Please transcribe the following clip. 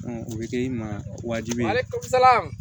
o bɛ kɛ i ma wajibi ye halisa ala